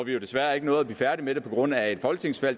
jo desværre ikke at blive færdige med det på grund af et folketingsvalg